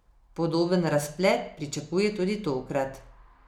Podoben razplet pričakuje tudi tokrat.